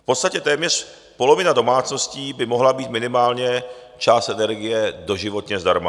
V podstatě téměř polovina domácností by mohla mít minimálně část energie doživotně zdarma.